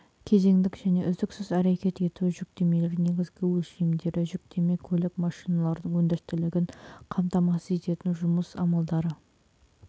кезеңдік және үздіксіз әрекет ету жүктемелері негізгі өлшемдері жүктеме көлік машиналарының өндірістілігін қамтамасыз ететін жұмыс амалдары